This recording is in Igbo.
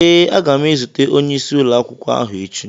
Ee, aga m ezute onyeisi ụlọakwụkwọ ahụ echi.